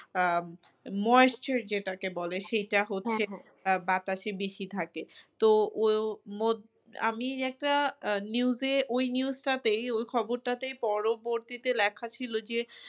আহ moisture যেটাকে বলে সেটা হচ্ছে বাতাসে বেশি থাকে তো ও আমি একটা আহ news এ ওই news টাতেই ওই খবরটাতেই পরবর্তীতে লেখা ছিল যে